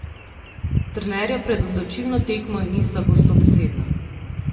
Trenerja pred odločilno tekmo nista gostobesedna.